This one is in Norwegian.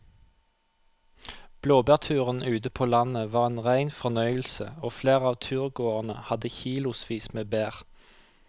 Blåbærturen ute på landet var en rein fornøyelse og flere av turgåerene hadde kilosvis med bær.